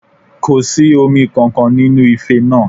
Kò sí omi kankan nínú ife náà